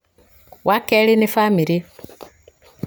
wa kerĩ nĩ bamĩrĩ